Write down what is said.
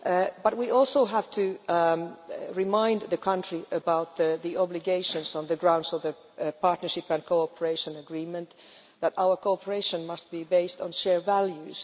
but we also have to remind the country about the obligation on the grounds of the Partnership and Cooperation Agreement that our cooperation must be based on shared values.